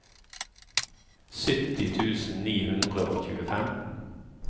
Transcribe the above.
sytti tusen ni hundre og tjuefem